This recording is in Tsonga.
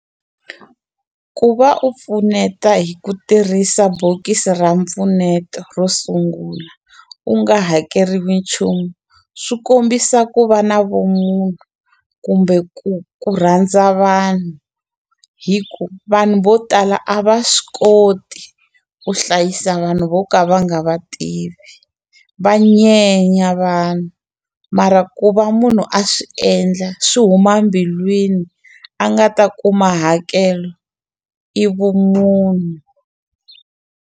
Ku va u pfuneta hi ku tirhisa bokisi ra mpfuneto ro sungula u nga hakeriwi nchumu swi kombisa ku va na vumunhu kumbe ku ku rhandza vanhu hi ku vanhu vo tala a va swi koti ku hlayisa vanhu vo ka va nga va tivi va nyenya vanhu mara ku va munhu a swi endla swi huma mbilwini a nga ta kuma hakelo i vumunhu.